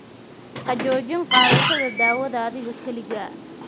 Ha joojin qaadashada daawada adiga keligaa.